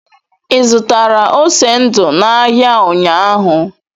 Ị zụtara ose ndu n'ahịa ụnyaahụ?